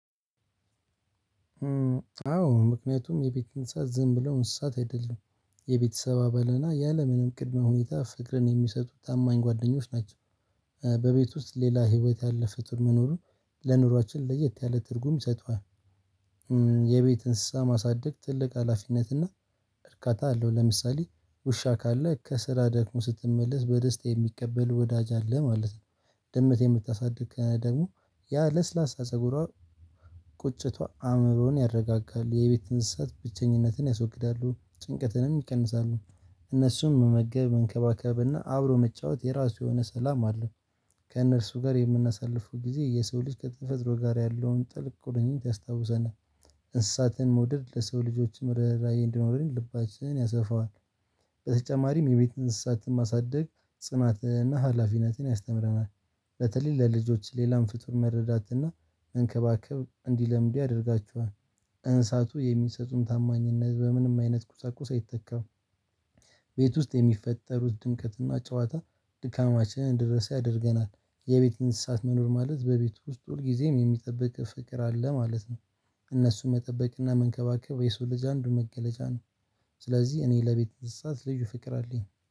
አዎ ምክንያቱም የቤት እንስሳት ዝም ብለው እንስሳት አይደሉም የቤተሰብ አባልና ያለምንም ቅድመ ሁኔታ ፍቅርን የሚሰጡ ታማኝ ጓደኞች ናቸው። በቤት ውስጥ ሌላ በህይወት ያለ ፍጡር መኖሩ ለኑሯችን ለየት ያለ ትርጉም ይሰጠዋል። የቤት እንስሳ ማሳደግ ትልቅ ሀላፊነት እና እርካታ አለው። ለምሳሌ ውሻ ካለ ከስራ ደክሞህ ስትመለስ በደስታ የሚቀበልህ ወዳጅ አለ ማለት ነው። ድምት የምታሳድግ ደግሞ ያ ለስላሳ ፀጉሯን ቁጭቷ አእምሮን ያረጋጋል የቤት እንስሳት ብቸኝነትን ያስወግዳሉ ጭንቀትንም ይቀንሳሉ። እነሱም መመገብ መንከባከብና አብሮ መጫወት የራሱ የሆነ ሰላም አለ። ከእነርሱ ጋር የምናሳልፈው ጊዜ የሰው ልጅ ከተፈጥሮ ጋር ያለውን ጥልቅ ቁርኝት ያስታውሰናል። እንስሳትን መውደድ ለሰው ልጆችም ርህራሄ እንዲኖረኝ ልባችንን ያሰፋዋል። በተጨማሪም የቤት እንስሳትን ማሳደግ ጽናትና ሀላፊነትን ያስተምረናል። በተለይ ለልጆች ሌላም ፍጡርን መረዳትና መንከባከብ እንዲለምዱ ያደርጋችኋል። እንስሳቱ የሚሰጡን ታማኝነት በምንም አይነት ቁሳቁስ አይተካም። ቤት ውስጥ የሚፈጠሩት ድምቀትና ጨዋታ ድካማችንን እንድንረሳ ያደርገናል። የቤት እንስሳት መኖር ማለት በቤቱ ውስጥ ሁልጊዜም የሚጠብቅህ ፍቅር አለ ማለት ነው። እነሱን መጠበቅና መንከባከብ የሰው ልጅ አንዱን መገለጫ ነው። ስለዚህ እኔ ለቤት እንሳሳት ልዩ ፍቅር አለኝ